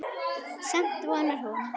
Samt vonar hún.